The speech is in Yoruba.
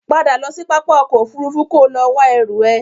Padà lọ sí pápá ọkọ̀ Òfurufú kò lọ wá ẹrú ẹ!